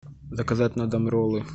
заказать на дом роллы